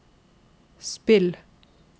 spill